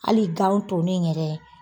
Hali ganw tonen yɛrɛ.